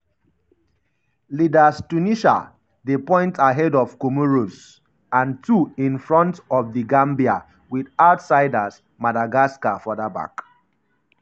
leaders tunisia dey point ahead of comoros and two in front of the gambia wit outsiders madagascar further back.